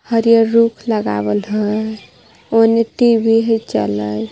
हरियर रुख लगावल ह ओने टी_वी ह चलत.